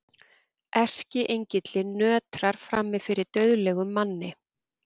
Erkiengillinn nötrar frammi fyrir dauðlegum manni.